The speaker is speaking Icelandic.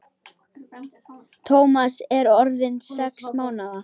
Tómas er orðinn sex mánaða.